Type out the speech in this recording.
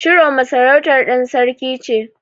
Chiroma sarautar ɗan sarki ce.